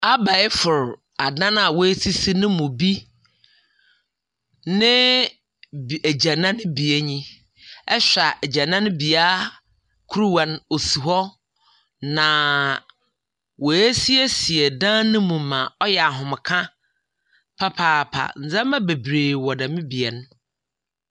Abɛɛfo adan wa sisi nom bi ne agyanan bea yi. Ɛhwɛ agyanan bea ne kuruwa no ɛsi hɔ na wa asiesie ɛdan no mu ma ɔyɛ ahomeka papaapa. Neɛma bebree wɔ dem bea yi.